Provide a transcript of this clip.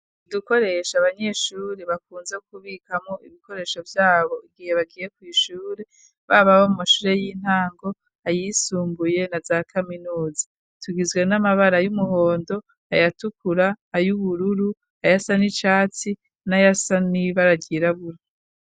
Udukoresho abanyeshure bakunze kubikamwo ibikoresho vyabo igihe bagiye ku ishure baba abo mu mashure y'intango ayisumbuye na za kaminuza tugizwe n'amabara y'umuhondo ayatukura, ayubururu, ayasa n'icatsi ,nayasa n'ibara ryirabura.